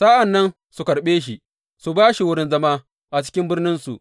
Sa’an nan su karɓe shi su ba shi wurin zama a cikin birninsu.